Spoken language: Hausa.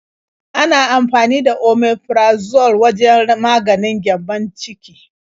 Ana amfani da Omeprazole wajen maganin gyambon ciki.